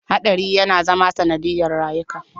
Haɗari yana zama sanadiyar rayuka.